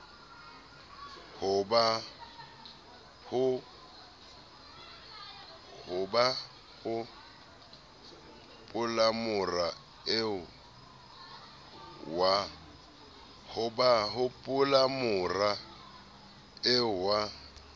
ha ba hopolamora eo wa